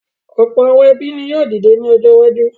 Ọ̀pọ̀ àwọn ẹbí ni yóò dìde ní ọjọ́ iwájú.